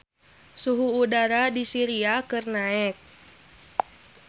Suhu udara di Syria keur naek